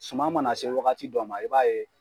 Suman mana se wagati dɔ ma i b'a ye